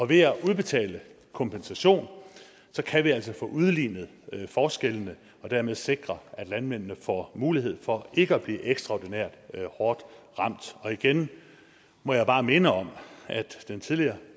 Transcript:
ved at udbetale kompensation kan vi altså få udlignet forskellene og dermed sikre at landmændene får mulighed for ikke at blive ekstraordinært hårdt ramt igen må jeg bare minde om at den tidligere